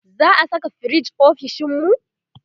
za'a Saka firij ofishinmu?